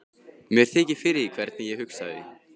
Mér þykir fyrir því hvernig ég hugsaði.